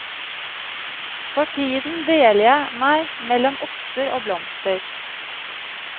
For tiden deler jeg meg mellom oster og blomster.